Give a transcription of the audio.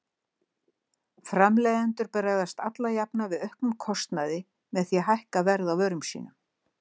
Framleiðendur bregðast alla jafna við auknum kostnaði með því að hækka verð á vörum sínum.